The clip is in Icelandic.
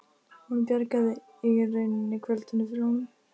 Hún bjargaði í rauninni kvöldinu fyrir honum.